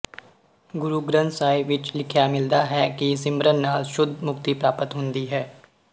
ਗੁਰੂ ਗ੍ਰੰਥ ਸਾਹਿਬ ਵਿੱਚ ਲਿਖਿਆ ਮਿਲਦਾ ਹੈ ਕਿ ਸਿਮਰਨ ਨਾਲ ਸ਼ੁੱਧ ਮੁਕਤੀ ਪ੍ਰਾਪਤ ਹੁੰਦੀ ਹੈ